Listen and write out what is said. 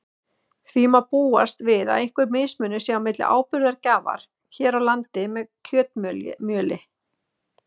Því má búast við að einhver mismunur sé milli áburðargjafar hér á landi með kjötmjöli.